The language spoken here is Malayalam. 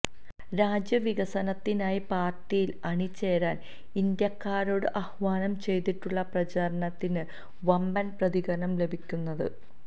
രാജ്യ വികസത്തിനായി പാർട്ടിയിൽ അണി ചേരാൻ ഇന്ത്യക്കാരോട് ആഹ്വാനം ചെയ്തുള്ള പ്രചാരണത്തിന് വമ്പൻ പ്രതികരണം ലഭിക്കുന്നത്